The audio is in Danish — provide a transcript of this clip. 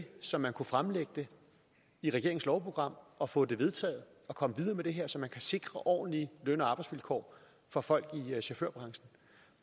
så man kunne fremlægge det i regeringens lovprogram og få det vedtaget og komme videre med det her så man kan sikre ordentlige løn og arbejdsvilkår for folk i chaufførbranchen